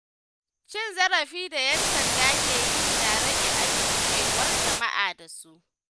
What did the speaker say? Cin zarafin mutane da ‘yan sanda ke yi yana rage amincewar jama’a da su.